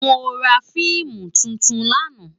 Mó rá fiimú tútún làná